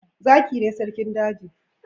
Zaki ne sarkin daji.